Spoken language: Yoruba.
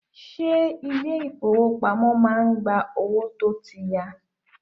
Ṣé ilé ìfọwọ́pamo má ń gba owó tó tí ya.